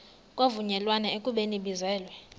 kwavunyelwana ekubeni ibizelwe